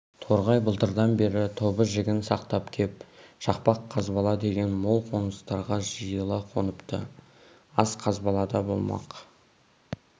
торғай былтырдан бері тобы-жігін сақтап кеп шақпақ қазбала деген мол қоныстарға жиыла қоныпты ас қазбалада болмақ